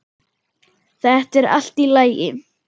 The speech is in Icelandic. Þetta er allt í lagi.